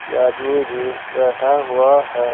यह आदमी भी बैठा हुआ है।